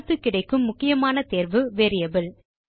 அடுத்து கிடைக்கும் முக்கியமான தேர்வு வேரியபிள்